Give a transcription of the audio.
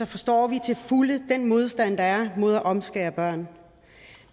forstår vi til fulde den modstand der er mod at omskære børn